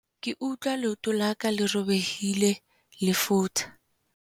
ke utlwa leoto la ka le robehileng le futha